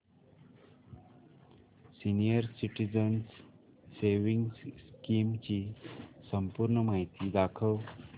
senior citizens savings scheme ची संपूर्ण माहिती दाखव